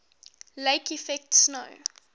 lake effect snow